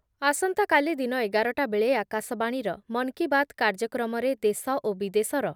ଆସନ୍ତାକାଲି ଦିନ ଏଗାର ଟା ବେଳେ ଆକାଶବାଣୀର ମନ୍ କି ବାତ୍ କାର୍ଯ୍ୟକ୍ରମରେ ଦେଶ ଓ ବିଦେଶର